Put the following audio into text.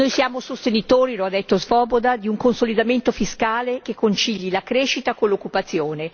Noi siamo sostenitori l'ha detto l'onorevole Swoboda di un consolidamento fiscale che concili la crescita con l'occupazione.